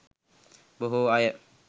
බොහෝ අය